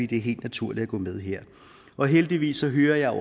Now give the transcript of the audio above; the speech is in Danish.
det er helt naturligt at gå med her og heldigvis så hører jeg